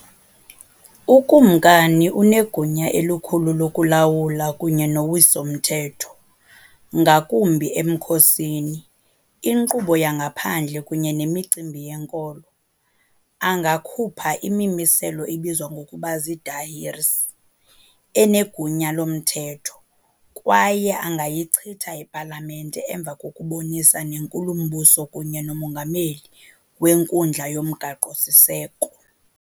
Ukumkani unegunya elikhulu lokulawula kunye nowiso-mthetho, ngakumbi emkhosini, inkqubo yangaphandle kunye nemicimbi yenkolo, angakhupha imimiselo ebizwa ngokuba "ziidahirs", enegunya lomthetho, kwaye angayichitha ipalamente emva kokubonisana nenkulumbuso kunye nomongameli wenkundla yomgaqo-siseko.